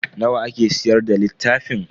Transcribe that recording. Nawa ake siyar da littafin?